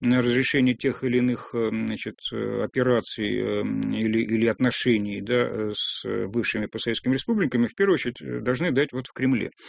на разрешении тех или иных значит операций и или отношений да с бывшими по советскими республиками в первую очередь должны дать вот в кремле